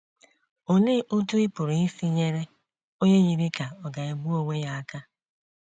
Olee Otú Ị Pụrụ Isi Nyere Onye Yiri Ka Ọ̀ Ga - egbu Onwe Ya Aka?